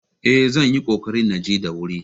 Eh, zan yi ƙoƙari na je da wuri